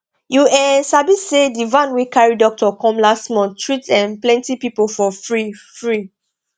you um sabi say di van wey carry doctor come last month treat um plenty people for free free